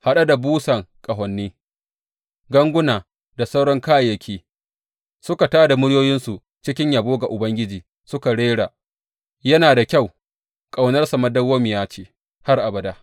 Haɗe da busan ƙahoni, ganguna da sauran kayayyaki, suka tā da muryoyinsu cikin yabo ga Ubangiji suka rera, Yana da kyau; ƙaunarsa dawwammamiya ce har abada.